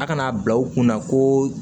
A kana bila u kunna ko